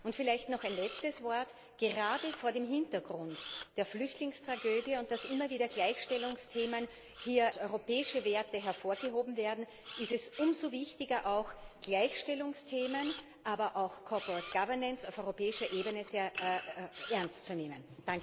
Und vielleicht noch ein letztes Wort Gerade vor dem Hintergrund der Flüchtlingstragödie und da immer wieder Gleichstellungsthemen als europäische Werte hervorgehoben werden, ist es umso wichtiger, Gleichstellungsthemen, aber auch Corporate Governance auf europäischer Ebene sehr ernst zu nehmen.